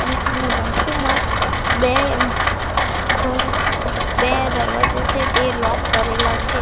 અને એની બાજુમાં બે ઉમ ઘર બે દરવાજા છે તે લોક કરેલા છે.